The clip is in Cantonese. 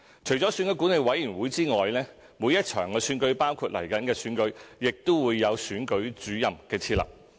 除了選舉管理委員會之外，每一場選舉——包括即將舉行的行政長官選舉——亦會設立選舉主任。